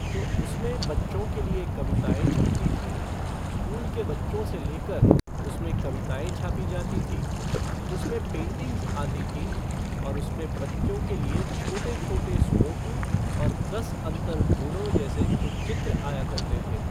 तो उसमें बच्चों के लिए कविताएं छपती थीं, स्कूल के बच्चों से लेकर उसमें कविताएं छापी जाती थीं, उसमें पेंटिंग्स आती थीं उसमें बच्चों के लिए छोटे छोटे सुडोकू और दस अंतर ढूंढ़ो जैसे कुछ चित्र आया करते थे।